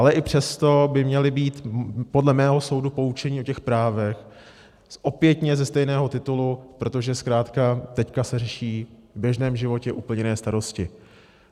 Ale i přesto by měli být podle mého soudu poučeni o těch právech, opětně ze stejného titulu, protože zkrátka teď se řeší v běžném životě úplně jiné starosti.